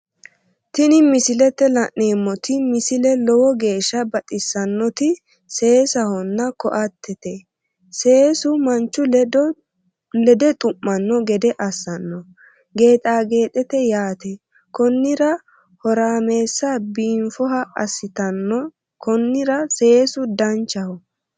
Tini misilete la'neemmoti misile lowo geeshsha baxissannoti seesahonna koatete seesu manchu lede xu'manno gede assano geexa geexete yaate konnira horaamessa biinfoha aasitanno konnira seesu danchaho